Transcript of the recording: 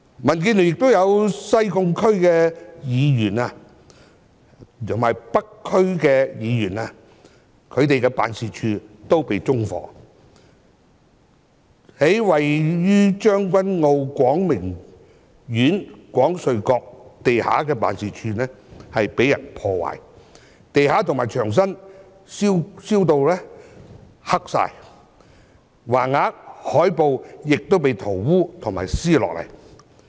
民建聯亦有西貢區議員及北區區議員的辦事處被縱火，而位於將軍澳廣明苑廣瑞閣地下的辦事處則被人破壞，地板及牆身被燒至燻黑，橫額和海報亦被塗污和撕下。